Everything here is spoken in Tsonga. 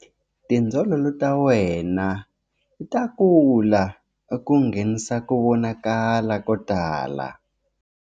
Tindzololo ta wena ta kula ku nghenisa ku vonakala ko tala.